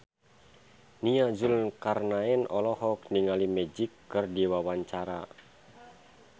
Nia Zulkarnaen olohok ningali Magic keur diwawancara